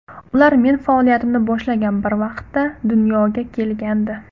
Ular men faoliyatimni boshlagan bir vaqtda dunyoga kelgandi.